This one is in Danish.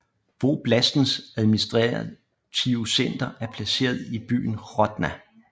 Voblastens administrative center er placeret i byen Hrodna